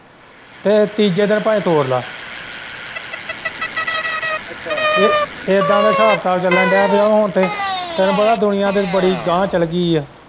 ਇਹ ਤੀਜੇ ਦਿਨ ਭਾਵੇ ਤੋੜ ਲੈ ਇੱਦਾ ਦਾ ਹਿਸਾਬ-ਕਿਤਾਬ ਚੱਲਣ ਦਿਆਂ ਪੀ ਹੁਣ ਤੇ ਤੈਨੂੰ ਪਤਾ ਦੁਨੀਆਂ ਤੇ ਵੀ ਬੜੀ ਅਗਾਂਹ ਚੱਲ ਗਈ ਏ।